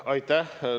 Aitäh!